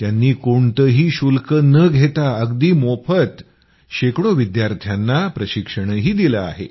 त्यांनी कोणतंही शुल्क न घेता अगदी मोफत शेकडो विद्यार्थ्यांना प्रशिक्षणही दिलं आहे